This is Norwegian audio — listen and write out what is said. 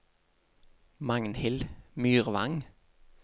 Magnhild Myrvang